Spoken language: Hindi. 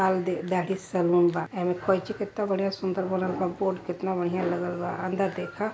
सैलून बा कैची केतना बढिया सूंदर बनल बा कम्पोट केतना बढ़िया लगल बा अंदर देख।